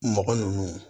Mɔgɔ ninnu